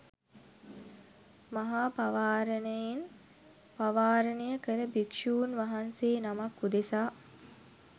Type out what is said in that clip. මහා පවාරණයෙන් පවාරණය කළ භික්ෂූන් වහන්සේ නමක් උදෙසා